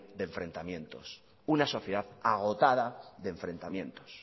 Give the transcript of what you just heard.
de enfrentamientos una sociedad agotada de enfrentamientos